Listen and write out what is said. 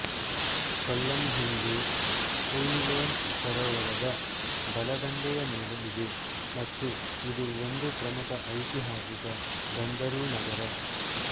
ಕೊಲ್ಲಂ ಹಿಂದೆ ಕುಇಲೊನ್ ಸರೋವರದ ಬಲದಂಡೆಯ ಮೇಲೆ ಇದೆ ಮತ್ತು ಇದು ಒಂದು ಪ್ರಮುಖ ಐತಿಹಾಸಿಕ ಬಂದರು ನಗರ